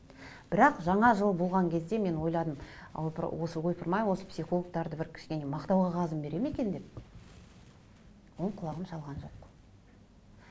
бірақ жаңа жыл болған кезде мен ойладым осы ойпырым ай осы психологтарды бір кішкене мақтау қағазын береді ме екен деп ол құлағым шалған жоқ